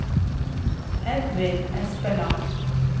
Edvin Espeland